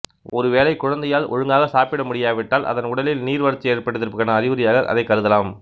ஒருவேளை குழந்தையால் ஒழுங்காக சாப்பிட முடியாவிட்டால் அதன் உடலில் நீர்வறட்சி ஏற்பட்டிருப்பதற்கான அறிகுறியாக அதைக் கருதலாம்